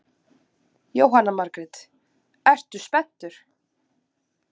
Jóhanna Margrét: Ertu spenntur?